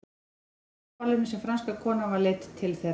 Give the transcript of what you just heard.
Það var á hjónaballinu sem franska konan var leidd til þeirra.